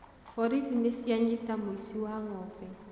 Borithi nĩcianyita mũici wa ng'ombe.